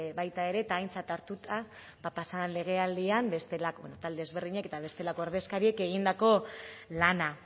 baita ere eta aintzat hartuta ba pasa den legealdian talde ezberdinek eta bestelako ordezkariek egindako lana